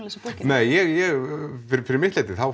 lesa bókina nei ég fyrir mitt leyti